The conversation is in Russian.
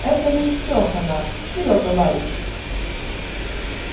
это лейтеха наш серёга ларичев